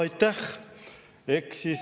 Aitäh!